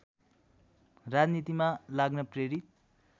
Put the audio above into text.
राजनीतिमा लाग्न प्रेरित